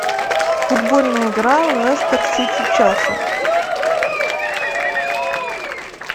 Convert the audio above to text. футбольная игра лестер сити челси